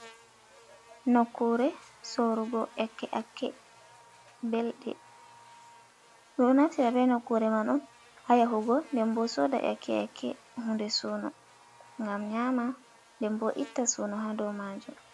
Nokkure sorugo ƴakke ƴakke belɗe, ɓeɗon naftira be nokkure man on ha yahugo nden bo soda ƴakke ƴakke hunde suuno, ngam nyama nden bo itta suuno ha dow majum